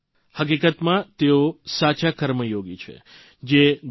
પોતાના પરિશ્રમના જોરે જેઓ જુદીજુદી રેતી અન્યના જીવનમાં હકારાત્મક પરીવર્તન લાવી રહ્યા છે